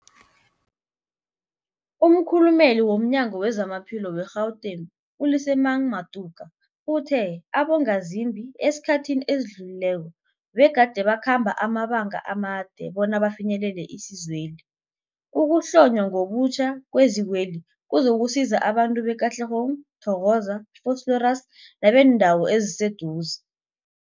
Umkhulumeli womNyango weZamaphilo we-Gauteng, u-Lesemang Matuka uthe abongazimbi esikhathini esidlulileko begade bakhamba amabanga amade bona bafinyelele isizweli. Ukuhlonywa ngobutjha kwezikweli kuzokusiza abantu be-Katlehong, Thokoza, Vosloorus nebeendawo eziseduze.